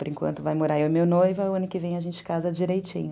Por enquanto vai morar eu e meu noivo, aí o ano que vem a gente casa direitinho.